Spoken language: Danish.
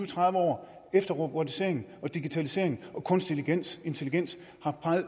tredive år efter at robotisering digitalisering og kunstig intelligens har